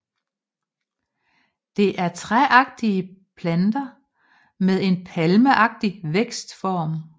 Det er træagtige planter med en palmeagtig vækstform